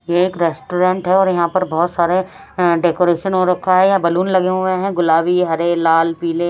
यह एक रेस्टोरेंट है और यहां पे बहोत सारे डेकोरेशन हो रखा है। यहां बैलून लगे हुए हैं गुलाबी हरे लाल पिले।